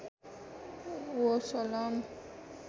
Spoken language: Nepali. ओ सलाम